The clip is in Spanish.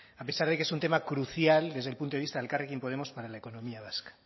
a pesar de que es un tema crucial desde el punto de vista de elkarrekin podemos para la economía vasca